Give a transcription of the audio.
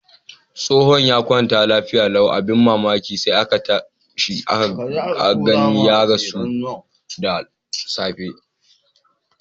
Tsofon ya kwanta lafiya lau. Abin mamaki sai aka gani ya rasu da safiyan yau.